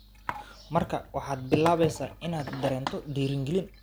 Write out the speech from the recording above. "Markaa waxaad bilaabaysaa inaad dareento dhiirigelin.